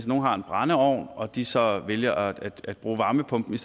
nogen har en brændeovn og de så vælger at bruge varmepumpen i